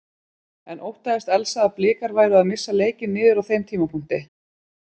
En óttaðist Elsa að Blikar væru að missa leikinn niður á þeim tímapunkti?